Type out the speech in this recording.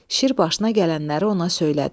Şir başına gələnləri ona söylədi.